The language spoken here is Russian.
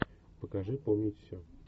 покажи помнить все